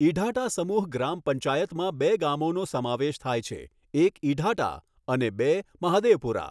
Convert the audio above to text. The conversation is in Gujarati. ઇઢાટા સમૂહ ગામ પંચાયતમાં બે ગામોનો સમાવેશ થાય છે એક ઇઢાટા અને બે મહાદેવપુરા.